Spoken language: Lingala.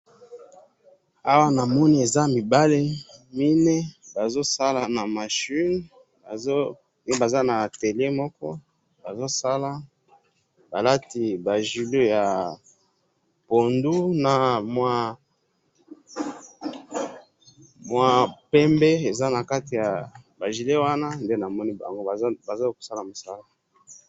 Awa namoni eza mibali mine, bazozala na machine, bazo, eh Baza na atelier moko, bazosala, balati ba gilet yapondu namwa pembe eza nakati yaba gilet wana, nde namoni bango bazakosala musala.